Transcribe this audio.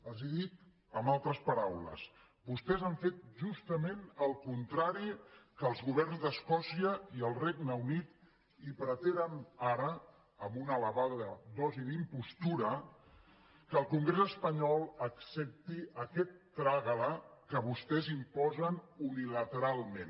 els ho dic amb altres paraules vostès han fet justament el contrari que els governs d’escòcia i el regne unit i pretenen ara amb una elevada dosi d’impostura que el congrés espanyol accepti aquest trágalament